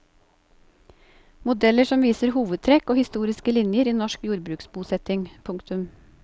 Modeller som viser hovedtrekk og historiske linjer i norsk jordbruksbosetting. punktum